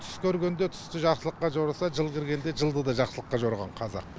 түс көргенде түсті жақсылыққа жорыса жыл кіргенде жылды да жақсылыққа жорыған қазақ